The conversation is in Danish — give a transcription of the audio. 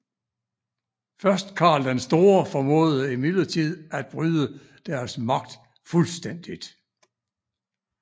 Først Karl den Store formåede imidlertid at bryde deres magt Fuldstændigt